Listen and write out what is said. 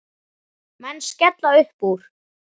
Menn skella uppúr.